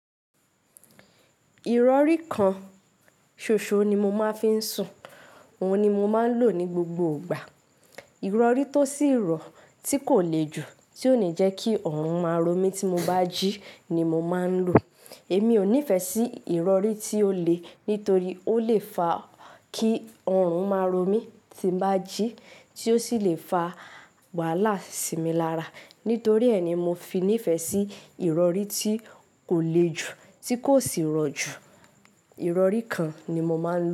Ìrọ̀rí kan ṣoṣo ni mo máa ń fi ń sùn. Òun ni mo máa ń lò ní gbogbo ìgbà. Ìrọ̀rí tó sì rọ̀ tí kò le jù tí ó le jẹ́ kí ọrùn máa ro mí tí mo bá jí ni mo máa ń lò. Èmi ò nífẹ̀ẹ́ sí ìrọ̀rí tí ó le nítorí ó le fa kí ọrùn máa ro mí tí bá jí tí ó sì le fa wàhálà sí mi lára. Nítorí ẹ́ ni mo fi nífẹ̀ẹ́ sí ìrọ̀rí tí kò le jù, tí kò sì rọ̀ jù. Ìrọ̀rí kan ni mo máa ń lò.